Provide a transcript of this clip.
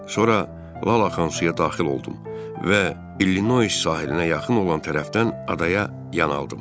Sonra lal axan suya daxil oldum və İllinois sahilinə yaxın olan tərəfdən adaya yan aldım.